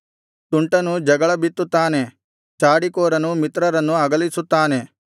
ತುಂಟನು ಜಗಳ ಬಿತ್ತುತ್ತಾನೆ ಚಾಡಿಕೋರನು ಮಿತ್ರರನ್ನು ಅಗಲಿಸುತ್ತಾನೆ